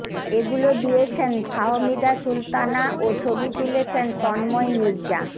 এগুলো দিয়েছেন ফাহমিদা সুলতানা ও ছবি তুলেছেন তন্ময় মির্জা